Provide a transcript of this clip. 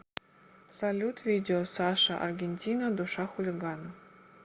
салют видео саша аргентина душа хулигана